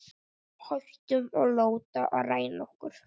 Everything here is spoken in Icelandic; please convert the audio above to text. Hættum að láta ræna okkur.